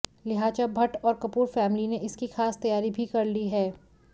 लिहाजा भट्ट और कपूर फैमिली ने इसकी खास तैयारी भी कर ली है